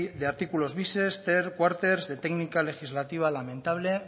de artículos bises ter cuarters de técnica legislativa lamentable